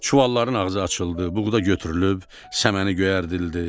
Çuvalların ağzı açıldı, buğda götürülüb, səməni göyərdildi.